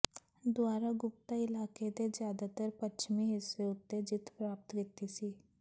ਦੁਆਰਾ ਗੁਪਤਾ ਇਲਾਕੇ ਦੇ ਜ਼ਿਆਦਾਤਰ ਪੱਛਮੀ ਹਿੱਸੇ ਉੱਤੇ ਜਿੱਤ ਪ੍ਰਾਪਤ ਕੀਤੀ ਸੀ